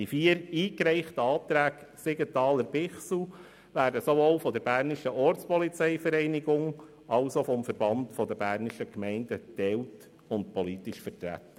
Die vier eingereichten Anträge Siegenthaler/Bichsel werden sowohl von der BOV als auch vom VBG geteilt und politisch vertreten.